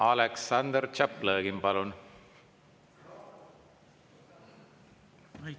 Aleksandr Tšaplõgin, palun!